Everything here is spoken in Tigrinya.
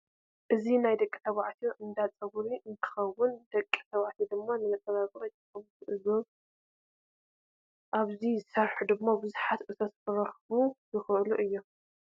እዚ ናይ ደቂ ተባዕትዮ እንዳ ፀጉሪ እንትከውን ደቂ ተባዕትዮ ድማ ንመፀባቢ ይጥቀምሉ። እዞም ኣብኡ ዝሰርሑ ድማ ቡዙሕ እቶት ክረክቡ ይክእሉ እዮም።